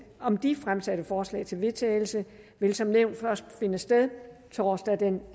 om de fremsatte forslag til vedtagelse vil som nævnt først finde sted torsdag den